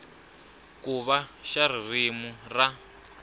ku va xa ririmi ra